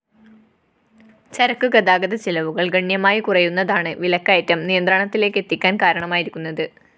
ചരക്കു ഗതാഗത ചിലവുകള്‍ ഗണ്യമായി കുറയുന്നതാണ് വിലക്കയറ്റം നിയന്ത്രണത്തിലേക്കെത്താന്‍ കാരണമായിരിക്കുന്നത്